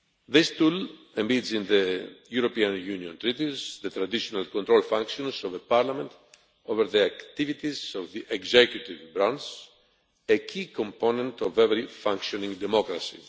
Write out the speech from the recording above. This tool represents, in the European Union Treaties, the traditional control functions of the Parliament over the activities of the executive branch, a key component of every functioning democracy.